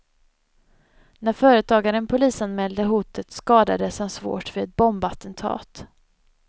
När företagaren polisanmälde hotet skadades han svårt vid ett bombattentat.